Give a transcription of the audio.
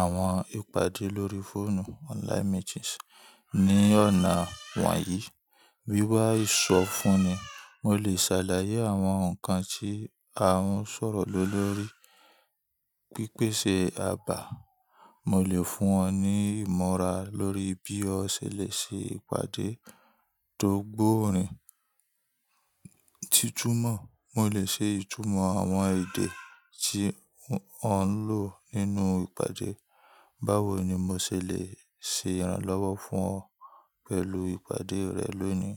àwọn ìpàdé lórí fóònù online meetings ní ọ̀nà wọ̀nyí. Wíwá ìsọ́ fún ni, mo lè ṣàlàyé àwọn nǹkan tí a ń sọ̀rọ̀ lé lórí. Pípèsè àbà, mo lè fún ọ ní ìmọ̀ra lórí bí o ṣe lè ṣe ìpàdé tó gbòòórìn. Títúmọ̀, mo lè ṣe ìtúmọ̀ àwọn èdè tí o ń lò nínú ìpàdé. Báwo ni mo ṣe lè ṣe ìrànlọ́wọ́ fún ọ pẹ̀lú ìpàdé rẹ lónìí?